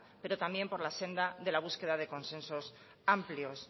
pero también por la senda la búsqueda de consensos amplios